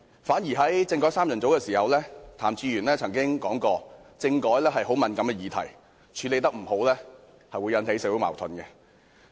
反而作為"政改三人組"一分子時，譚志源曾經說過，政改是很敏感的議題，處理得不好，便會引起社會矛盾。